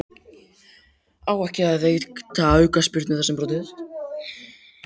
Á ekki að veita aukaspyrnu þar sem brotið hefst?